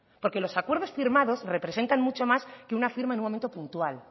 porque los acuerdos firmados representan mucho más que una firma en un momento puntual